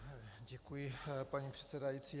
Děkuji, paní předsedající.